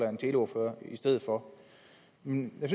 en teleordfører i stedet for men jeg